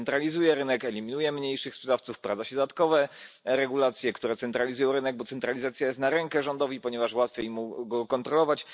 Centralizuje to rynek, eliminuje mniejszych sprzedawców, wprowadza się dodatkowe regulacje, które centralizują rynek, bo centralizacja jest na rękę rządowi, ponieważ łatwiej mu go kontrolować.